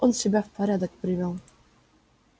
он себя в порядок привёл